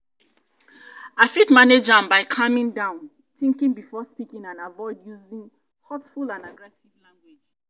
i fit manage am by calming down think before speaking and avoid using hurtful and aggressive language.